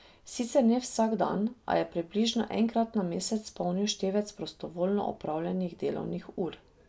Sicer ne vsak dan, a je približno enkrat na mesec polnil števec prostovoljno opravljenih delovnih ur.